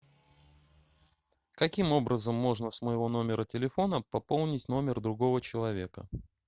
каким образом можно с моего номера телефона пополнить номер другого человека